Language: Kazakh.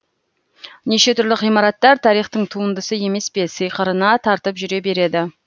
неше түрлі ғимараттар тарихтың туындысы емес пе сиқырына тартып жүре береді